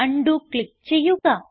ഉണ്ടോ ക്ലിക്ക് ചെയ്യുക